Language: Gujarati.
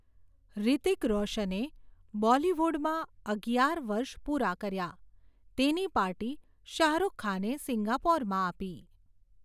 હૃતિક રોશને બોલીવૂડમાં અગિયાર વર્ષ પૂરાં કર્યાં, તેની પાર્ટી શાહરુખ ખાને સિંગાપોરમાં આપી.